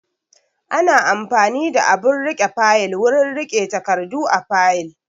Ana amfani da abun riƙe fayil wurin riƙe takardu a fayil